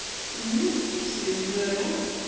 всем здорова